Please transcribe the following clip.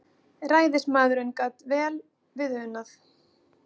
Ræðismaðurinn gat vel við unað.